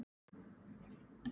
Brann það allt?